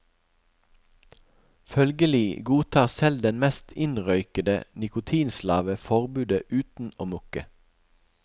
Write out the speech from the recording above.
Følgelig godtar selv den mest innrøykede nikotinslave forbudet uten å mukke.